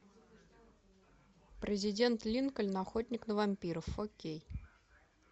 президент линкольн охотник на вампиров фор кей